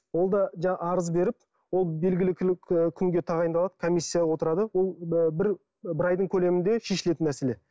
ол да жаңа арыз беріп ол белгілі күнге тағайындалып комиссия отырады ол бір айдың көлемінде шешілетін нәрселер